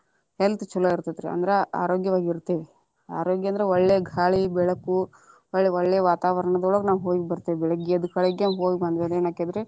Health ಚೊಲೊ ಇರತೇತಿ ಅಂದ್ರ ಆರೋಗ್ಯವಾಗಿ ಇರ್ತೇವಿ ಆರೋಗ್ಯನ್ದ್ರ ಒಳ್ಳೆ ಗಾಳಿ ಬೆಳಕು ಒಳ್ಳೆ ವಾತಾವರಣದೊಳಗ ನಾವ ಹೋಗಿ ಬರ್ತೇವಿ ಬೆಳಿಗ್ಗೆದ್ದ ಗಳಿಗೆ ಹೋಗಿ ಬಂದವಿ ಅಂದ್ರೆ ಏನ ಅಕ್ಕೆತರಿ.